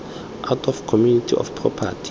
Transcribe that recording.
out of community of property